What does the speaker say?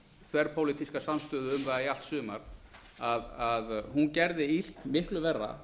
þverpólitíska samstöðu um það í allt sumar gerði illt miklu verra